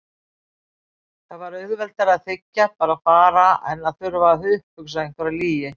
Þá var auðveldara að þiggja bara farið en að þurfa að upphugsa einhverja lygi.